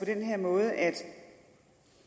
den her måde at